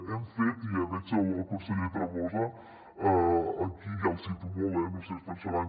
hem fet i veig el conseller tremosa aquí ja el cito molt eh no ho sé es pensaran